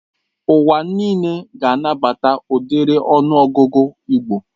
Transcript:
Ụwa nịle ga-anabata ụdiri ọnụ ọgụgụ igbo